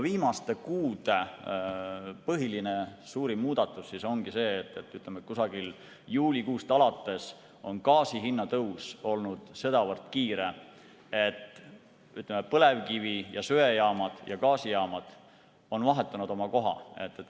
Viimaste kuude põhiline, suurim muudatus ongi see, et umbes juulikuust alates on gaasi hinna tõus olnud sedavõrd kiire, et põlevkivi‑ ja söejaamad ning gaasijaamad on vahetanud oma koha.